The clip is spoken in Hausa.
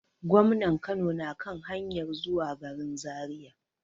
Gwamnan Kano na kan hanyar zuwa garin Zariya.